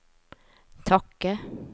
takke